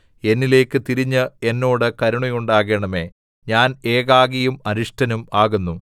എന്നിലേക്ക് തിരിഞ്ഞ് എന്നോട് കരുണയുണ്ടാകണമേ ഞാൻ ഏകാകിയും അരിഷ്ടനും ആകുന്നു